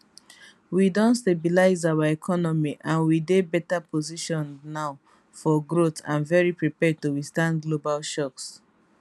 we don stabilize our economy and we dey better positioned now for growth and very prepared to withstand global shocks